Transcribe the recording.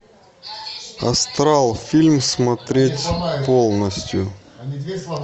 астрал фильм смотреть полностью